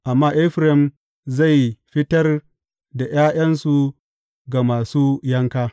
Amma Efraim zai fitar da ’ya’yansu ga masu yanka.